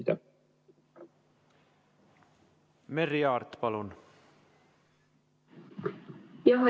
Merry Aart, palun!